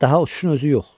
Daha uçuşun özü yox.